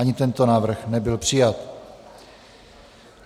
Ani tento návrh nebyl přijat.